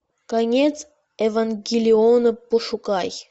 конец евангелиона пошукай